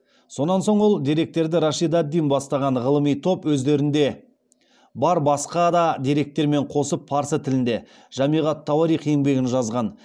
сонан соң ол деректерді рашид ад дин бастаған ғылыми топ өздерінде бар басқа да деректермен қосып парсы тілінде жамиғ ат тауарих еңбегін жазған